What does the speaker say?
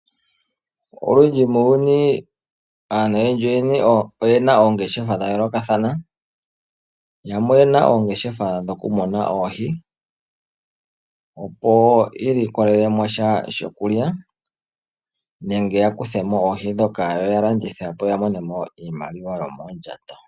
Olundji muuyuni aantu oyena oongeshefa dhayoolokathana. Yamwe oyena oongeshefa dhoku muna oohi opo yi ilikolele sha shokulya nenge yakuthe mo oohi ndhoka yalandithe yi imonene iimaliwa yomondjato.